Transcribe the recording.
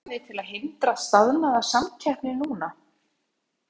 En eru einhver úrræði til að hindra staðnaða samkeppni núna?